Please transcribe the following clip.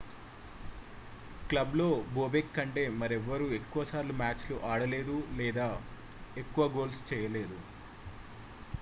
క్లబ్లో bobek కంటే మరెవ్వరూ ఎక్కువ సార్లు మ్యాచ్లు ఆడలేదు లేదా ఎక్కువ గోల్స్ చేయలేదు